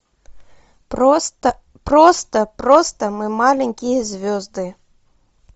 просто просто просто мы маленькие звезды